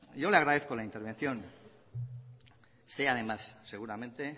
yo le agradezco la intervención sé además seguramente